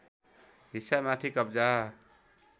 हिस्सा माथि कब्जा